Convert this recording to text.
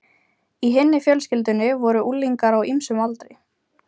Í hinni fjölskyldunni voru unglingar á ýmsum aldri.